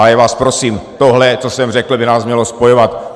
A já vás prosím, tohle, co jsem řekl, by nás mělo spojovat.